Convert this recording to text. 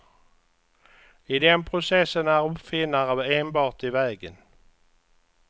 I den processen är uppfinnare enbart i vägen.